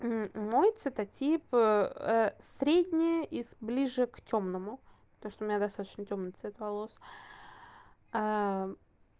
мой цветотип средне и ближе к тёмному потому что у меня достаточно тёмный цвет волос